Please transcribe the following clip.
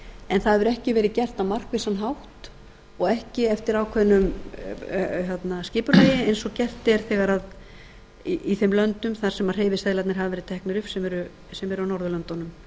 en það hefur ekki verið gert á markvissan hátt og ekki eftir ákveðnu skipulagi eins og gert er í þeim löndum þar sem hreyfiseðlarnir hafa verið teknir upp sem er á norðurlöndunum